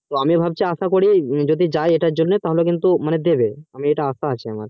তো আমি ভাবছি আসা করি যদি যাই এটার জন্য তাহলে কিন্তু দেবে আমার এটা আশা আছে আমার